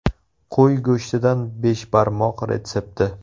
Qo‘y go‘shtidan beshbarmoq retsepti.